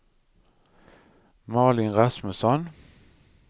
Malin Rasmusson